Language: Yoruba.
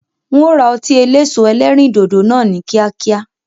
Ń ó ra ọtí eléso ẹlẹ́rìndòdò náà ni kíákíá.